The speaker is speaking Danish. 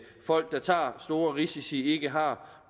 folk der tager store risici ikke har